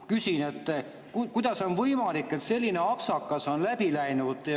Küsin, kuidas on võimalik, et selline apsakas on läbi läinud.